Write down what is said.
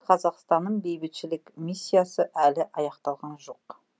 қазақстанның бейбітшілік миссиясы әлі аяқталған жоқ